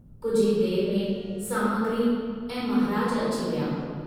कुझु ई देर में सामग्री ऐं महाराज अची विया।